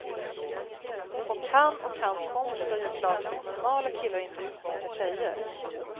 Och han och hans kompisar gör klart att normala killar inte utnyttjar tjejer.